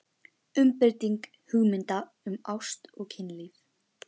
UMBREYTING HUGMYNDA UM ÁST OG KYNLÍF